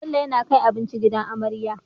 Bello yAna kai abinci gidan marayu